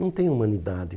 Não tem humanidade.